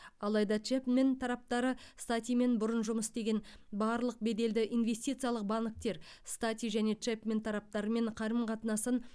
алайда чэпмен тараптары статимен бұрын жұмыс істеген барлық беделді инвестициялық банктер стати және чэпмен тараптарымен қарым қатынасын